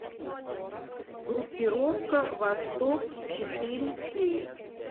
группировка восток четыре кей